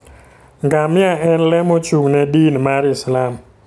Ngamia en le mochung'ne din mar Islam.